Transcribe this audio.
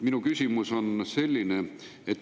Minu küsimus on selline.